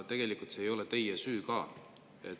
Tegelikult see ei ole teie süü.